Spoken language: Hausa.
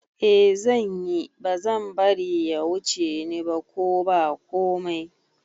Eh zanyi, bazan bari ya wuce ni ba ko ba komai